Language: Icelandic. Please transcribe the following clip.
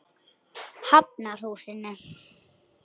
Hafnarhúsinu